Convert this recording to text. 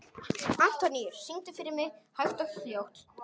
Antóníus, syngdu fyrir mig „Hægt og hljótt“.